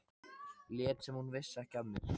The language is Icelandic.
Lét sem hún vissi ekki af mér.